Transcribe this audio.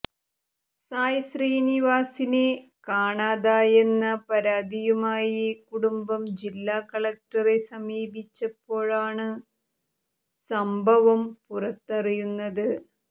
സായ് ശ്രീനിവാസിനെ കാണാതായെന്ന പരാതിയുമായി കുടുംബം ജില്ലാകളക്ടറിനെ സമീപിച്ചപ്പോളാണ് സംഭവം പുറത്തറിയുന്നത്